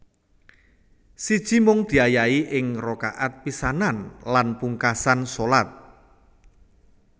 Siji Mung diayahi ing rakaat pisanan lan pungkasan shalat